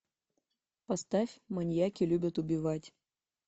поставь маньяки любят убивать